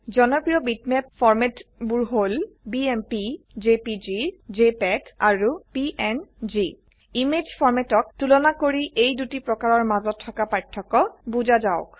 জনপ্ৰিয় বিটম্যাপ ফৰ্ম্যাটবোৰ হল বিএমপি জেপিজি জেপিইজি আৰু পিএনজি ইমেজ formatঅক তুলনা কৰি এই দুটি প্ৰকাৰৰ মাজত থকা পাৰ্থক্য বুজা যাওক